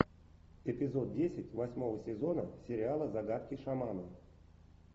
эпизод десять восьмого сезона сериала загадки шамана